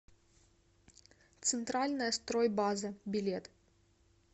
центральная стройбаза билет